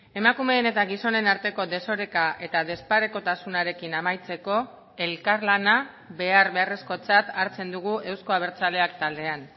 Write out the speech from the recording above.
emakumeen eta gizonen arteko desoreka eta desparekotasunarekin amaitzeko elkarlana behar beharrezkotzat hartzen dugu euzko abertzaleak taldean